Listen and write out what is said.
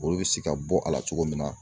Olu bɛ se ka bɔ a la cogo min na